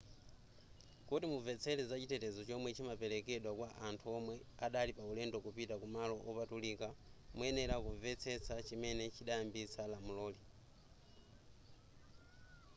kuti mumvetsese zachitetezo chomwe chimaperekedwa kwa anthu omwe adali paulendo kupita kumalo opatulika muyenera kumvetsesa chimene chidayambitsa lamuloli